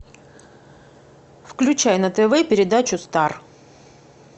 включай на тв передачу стар